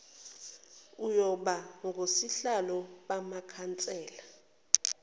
ayoba ngosihlalo bamakhansela